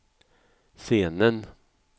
scenen